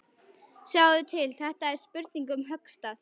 Sjáðu til, þetta er spurning um höggstað.